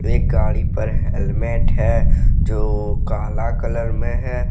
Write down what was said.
एक गाड़ी पर हेलमेट है जो काला कलर में है।